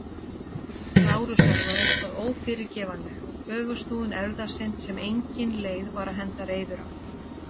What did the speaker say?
Lárusar var eitthvað ófyrirgefanlegt- öfugsnúin erfðasynd sem engin leið var að henda reiður á.